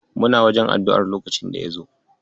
Muna wajen addu'ar lokacin da ya zo.